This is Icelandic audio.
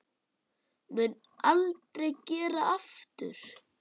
Mun aldrei gera aftur.